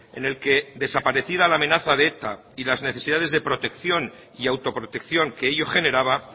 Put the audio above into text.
en el que desaparecida la amenaza de eta y las necesidades de protección y autoprotección que ello generaba